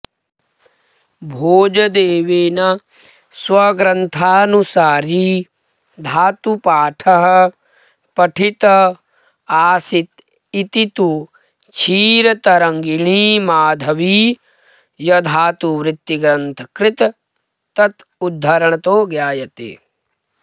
भोजदेवेन स्वग्रन्थानुसारी धातुपाठः पठित आसीदिति तु क्षीरतरङ्गिणीमाधवीयधातुवृत्तिग्रन्थकृत तदुद्धरणतो ज्ञायते